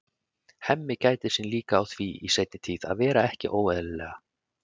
Hemmi gætir sín líka á því í seinni tíð að vera ekki óeðlilega